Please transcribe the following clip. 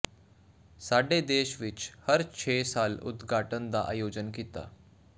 ਸਾਡੇ ਦੇਸ਼ ਵਿਚ ਹਰ ਛੇ ਸਾਲ ਉਦਘਾਟਨ ਦਾ ਆਯੋਜਨ ਕੀਤਾ